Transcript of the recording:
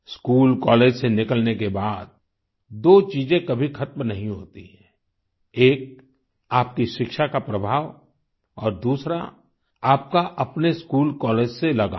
school college से निकलने के बाद दो चीजें कभी खत्म नहीं होती हैं एक आपकी शिक्षा का प्रभाव और दूसरा आपका अपने स्कूल कॉलेज से लगाव